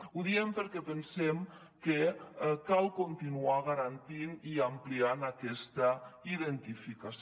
ho diem perquè pensem que cal continuar garantint i ampliant aquesta identificació